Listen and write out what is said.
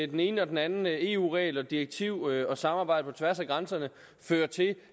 den ene og den anden eu regel eu direktiver og samarbejdet på tværs af grænserne føre til